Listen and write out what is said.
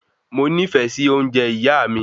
Moní fẹ sí ounjẹ ìyá mi